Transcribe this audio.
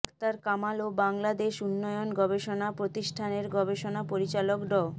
আকতার কামাল ও বাংলাদেশ উন্নয়ন গবেষণা প্রতিষ্ঠানের গবেষণা পরিচালক ড